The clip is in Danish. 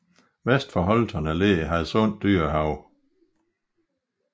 Vest for Holterne ligger Hadsund Dyrehave